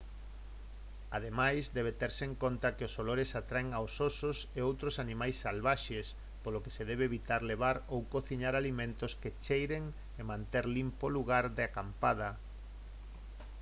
ademais debe terse en conta que os olores atraen aos osos e outros animais salvaxes polo que se debe evitar levar ou cociñar alimentos que cheiren e manter limpo o lugar de acampada